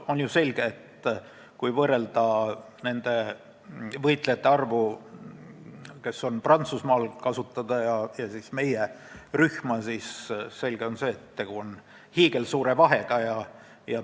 On ju selge, et kui võrrelda nende võitlejate arvu, kes on Prantsusmaal kasutada, ja meie rühma, siis on tegu hiigelsuure vahega.